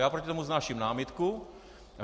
Já proti tomu vznáším námitku.